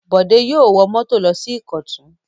Bọ̀dé yóò wọ mọ́tò lọ sí Ìkọ̀tún!